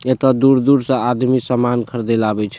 एता दूर-दूर से आदमी समान ख़रीदेला आवे छे।